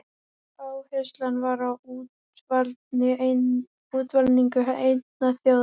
Áherslan var á útvalningu einnar þjóðar.